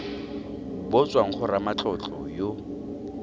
bo tswang go ramatlotlo yo